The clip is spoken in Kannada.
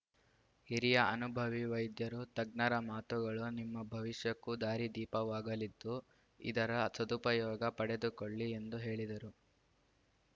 ಹಿರಿಯ ಅನುಭವಿ ವೈದ್ಯರು ತಜ್ಞರ ಮಾತುಗಳು ನಿಮ್ಮ ಭವಿಷ್ಯಕ್ಕೂ ದಾರಿ ದೀಪವಾಗಲಿದ್ದು ಇದರ ಸದುಪಯೋಗ ಪಡೆದುಕೊಳ್ಳಿ ಎಂದು ಹೇಳಿದರು